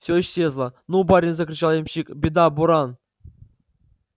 все исчезло ну барин закричал ямщик беда буран